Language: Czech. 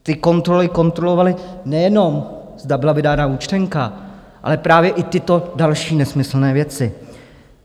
Ty kontroly kontrolovaly, nejen zda byla vydána účtenka, ale právě i tyto další nesmyslné věci.